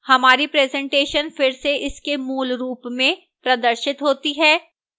हमारी presentation फिर से इसके मूल रूप में प्रदर्शित होती है